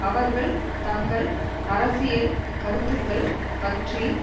அவர்கள் தங்கள் அரசியல் கருத்துக்கள் பற்றி